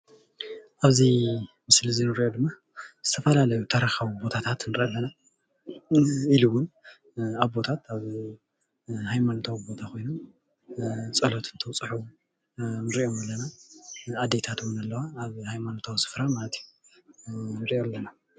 አብዚ ምስሊ እዚ እንሪኦ ድማ ዝተፈላለዩ ታሪካዊ ቦታታት ንርኢ ኣለና፡፡ ኢሉ እውን ኣቦታት ኣብ ሃይማኖታዊ ቦታ ኮይኖም ፀሎት እንትኣብፅሑ ንሪኦም ኣለና፡፡ ኣዴታት እውን ኣለዋ ኣብ ሃይማኖታዊ ስፍራ ማለት እዩ ንርኢ ኣለና፡፡